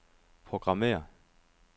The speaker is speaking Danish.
programmér